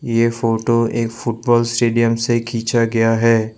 ये फोटो एक football stadium से खींचा गया है।